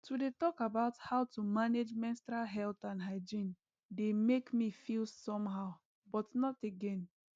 to dey talk about how to manage menstrual health and hygiene dey make me feel somehow but not again